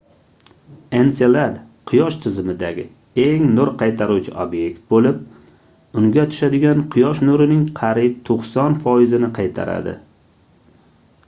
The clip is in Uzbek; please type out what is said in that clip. enselad quyosh tizimidagi eng nur qaytaruvchi obyekt boʻlib unga tushadigan quyosh nurining qariyb 90 foizini qaytaradi